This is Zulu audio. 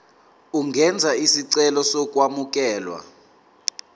ungenza isicelo sokwamukelwa